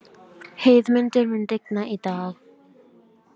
Heiðmundur, mun rigna í dag?